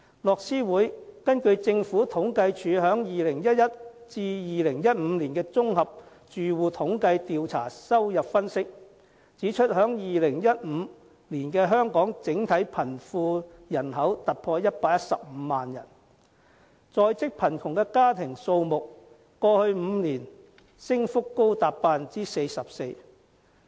樂施會根據政府統計處在2011年至2015年綜合住戶統計調查的收入分析，指出在2015年香港整體貧窮人口突破115萬人，在職貧窮家庭數目在過去5年升幅高達 44%。